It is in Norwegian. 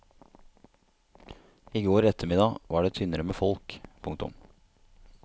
I går eftermiddag var det tynnere med folk. punktum